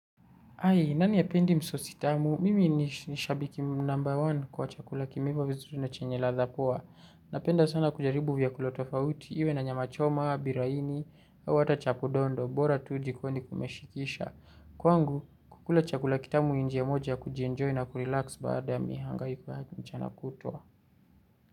Ai, nani hapendi msosi tamu? Mimi ni shabiki number one kwa chakula kimeiva vizuri na chenye ladha poa. Napenda sana kujaribu vyakula tofauti iwe na nyama choma, biraini, au hata chapo dondo, bora jikoni kumeshikisha. Kwangu, kukula chakula kitamu ni njia moja kujienjoy na kurelax baada ya mihangaiko ya mchana kutwa.